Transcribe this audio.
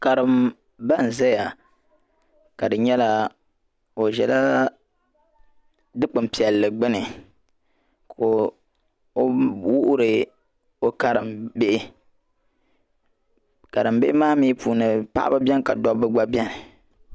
karimba n ʒɛya ka di nyɛla o zala dikpinpiɛlli gbini ka o wuhiri o Karim bihi karimbihi maa mii puuni paɣaba beni ka dobba gba beni